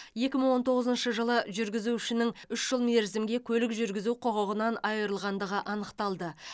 екі мың он тоғызыншы жылы жүргізушінің үш жыл мерзімге көлік жүргізу құқығынан айырылғандығы анықталды